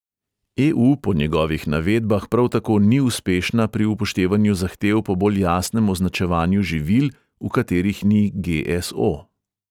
E|u po njegovih navedbah prav tako ni uspešna pri upoštevanju zahtev po bolj jasnem označevanju živil, v katerih ni ge|es|o.